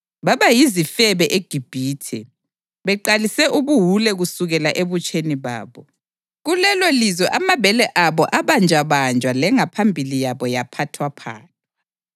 Baba yizifebe eGibhithe, beqalise ubuwule kusukela ebutsheni babo. Kulelolizwe amabele abo abanjwabanjwa lengaphambili yabo yaphathwaphathwa.